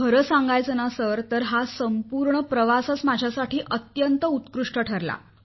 खरे सांगायचे तर हा संपूर्ण प्रवासच माझ्यासाठी अत्यंत उत्कृष्ट ठरला